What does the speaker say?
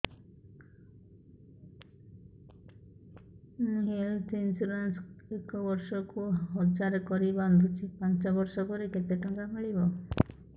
ମୁ health insurance ଏକ ବର୍ଷକୁ ହଜାର କରି ବାନ୍ଧୁଛି ପାଞ୍ଚ ବର୍ଷ ପରେ କେତେ ଟଙ୍କା ମିଳିବ